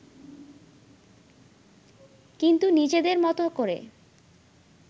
কিন্তু নিজেদের মতো করে